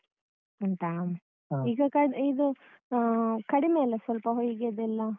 ಉಂಟಾ ಈಗ ಅಹ್ ಇದು ಅಹ್ ಕಡಿಮೆ ಅಲ್ಲ ಸ್ವಲ್ಪ ಹೊಯ್ಗೆಯದ್ದೆಲ್ಲ?